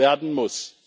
werden muss.